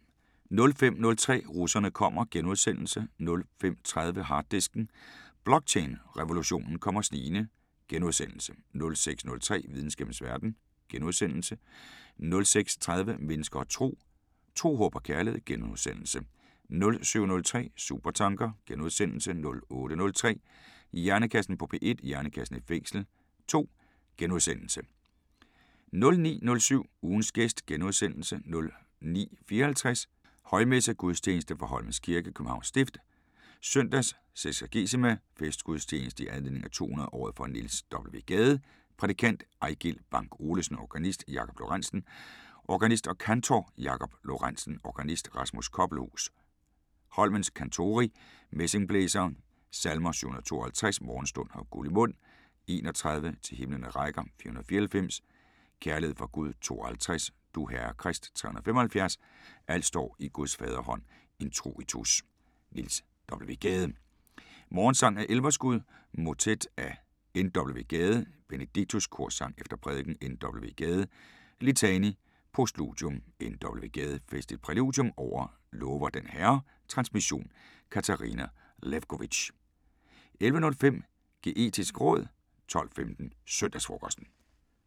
05:03: Russerne kommer * 05:30: Harddisken: Blockchain-revolutionen kommer snigende * 06:03: Videnskabens Verden * 06:30: Mennesker og Tro: Tro. Håb og kærlighed * 07:03: Supertanker * 08:03: Hjernekassen på P1: Hjernekassen i fængsel 2 * 09:07: Ugens gæst * 09:54: Højmesse - Gudstjeneste fra Holmens Kirke. Københavns Stift. Søndag seksagesima. Festgudstjeneste i anledning 200-året for Niels W. Gade. Prædikant: Ejgil Bank Olesen. Organist: Jakob Lorentzen. Organist og kantor: Jakob Lorentzen. Organist: Rasmus Koppelhus. Holmens Kantori, messingblæsere. Salmer: 752: Morgenstund har guld i mund 31: Til himlene rækker 494: Kærlighed fra Gud 52: Du, Herre Krist 375: Alt står i Guds faderhånd Introitus: Niels W. Gade: "Morgensang" af Elverskud. Motet: N. W. Gade: Benedictus. Korsang efter prædikenen. N. W. Gade: LITANI. Postludium. N. W. Gade: Festligt præludium over "Lover den Herre". Transmission: Katarina Lewkovitch. 11:05: Geetisk råd 12:15: Søndagsfrokosten